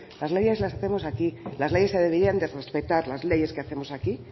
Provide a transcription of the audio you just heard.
las leyes las hacemos aquí las leyes se deberían de respetar las leyes que hacemos aquí y